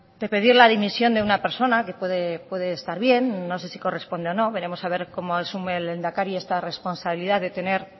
de pedir la dimisión de una persona que puede estar bien no se si corresponde o no veremos a ver cómo asume el lehendakari esta responsabilidad de tener